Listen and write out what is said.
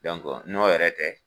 n'o yɛrɛ tɛ